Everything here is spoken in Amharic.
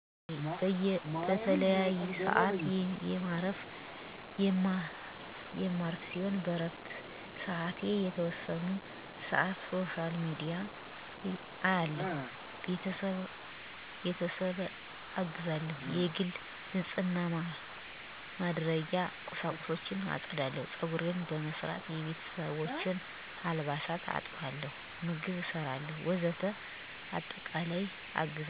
አወ በቀን በተለያዪሰአት የማርፍ ሲሆን በእረፍትሰአቴ የተወሰነወን ሰአት ሶሻል ሚዲያ አያለሁ፣ ቤተሰብአግዛለሁ፣ የግል ንጽህናማድረጊያ ቂሳቁሶችን ማጽዳት፣ ጸጉሬን በመሰራት፣ የቤተሰቦቸን አልባሳት አጥባለሁ፣ ምግብ እሰራለሁ ወዘተ በአጠቃላይለ3በአጠቃላይ ለሶስት ሰአት ጌዜ እቆያለሁ።